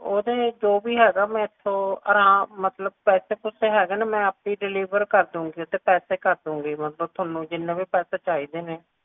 ਓਹਦੇ ਜੋ ਵੀ ਹੈਗਾ ਉਹ ਅਰਾਮ ਮਤਲਬ ਪੈਸੇ ਪੂਸੇ ਹੈਗੇ ਨੇ ਮੈਂ ਆਪੇ deliver ਕਰ ਦਊਂਗੀ ਓਦੇ ਪੈਸੇ ਕਰ ਦਊਂਗੀ ਮਤਲਬ ਜਿੰਨੇ ਵੀ ਪੈਸੇ ਹੈਗੇ ਨੇ